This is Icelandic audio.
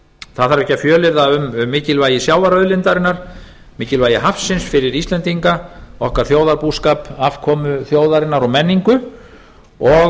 þarf ekki að fjölyrða um mikilvægi sjávarauðlindarinnar mikilvægi hafsins fyrir íslendinga okkar þjóðarbúskap afkomu þjóðarinnar og menningu og